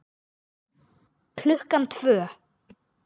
Klukkan tvö.